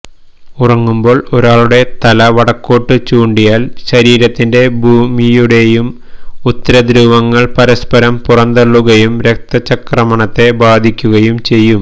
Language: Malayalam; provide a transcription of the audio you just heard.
ഉറങ്ങുമ്പോള് ഒരാളുടെ തല വടക്കോട്ട് ചൂണ്ടിയാല് ശരീരത്തിന്റെയും ഭൂമിയുടെയും ഉത്തരധ്രുവങ്ങള് പരസ്പരം പുറന്തള്ളുകയും രക്തചംക്രമണത്തെ ബാധിക്കുകയും ചെയ്യും